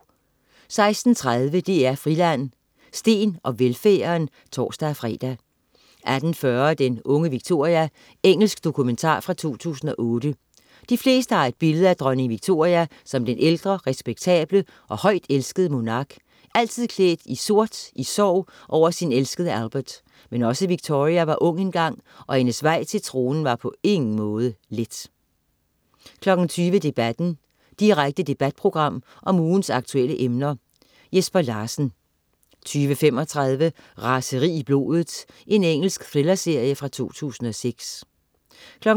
16.30 DR Friland: Steen og velfærden (tors-fre) 18.40 Den unge Victoria. Engelsk dokumentar fra 2008. De fleste har et billede af dronning Victoria som den ældre, respektable og højt elskede monark, altid klædt i sort i sorg over sin elskede Albert, men også Victoria var ung engang, og hendes vej til tronen var på ingen måde let 20.00 Debatten. Direkte debatprogram om ugens aktuelle emner. Jesper Larsen 20.35 Raseri i blodet. Engelsk thrillerserie fra 2006 22.00